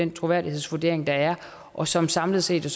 den troværdighedsvurdering der er og som samlet set